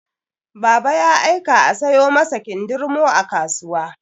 Baba ya aika a sayo masa kindirmo a kasuwa.